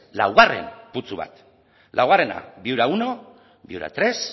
laugarren putzu bat laugarrena viura primero viura tres